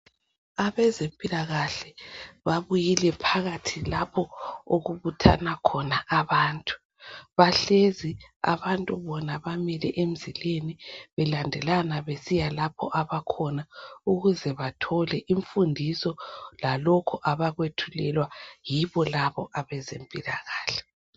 Abezempilakahle babuyile phakathi lapho okubuthanwa khona abantu bahlezi abantu bona bamile emzileni belandelana besiya lapho abakhona ukuze bathole imfundiso lalokho abakwethulelwa yibo labo abezempilakahle